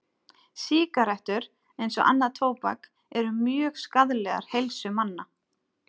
Sígarettur, eins og annað tóbak, eru mjög skaðlegar heilsu manna.